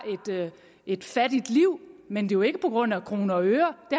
et fattigt liv men jo ikke på grund af kroner og øre det